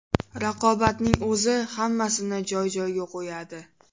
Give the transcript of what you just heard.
Raqobatning o‘zi hammasini joy-joyiga qo‘yadi.